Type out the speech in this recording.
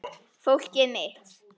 Fólkið mitt.